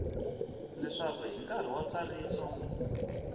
leswaku hi nkarhi wa ntsariso